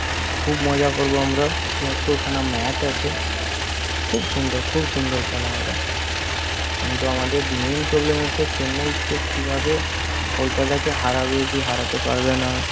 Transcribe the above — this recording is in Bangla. খুব মজা করব আমরা ছিয়াত্তর খানা match আছে খুব সুন্দর খুব সুন্দর খেলা হবে। কিন্তু আমাদের main problem হচ্ছে চেন্নাইর চেয়ে কিভাবে কলকাতাকে হারাবে কি হারাতে পারবে না